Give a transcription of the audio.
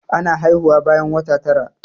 Ana haihuwa bayan wata tara.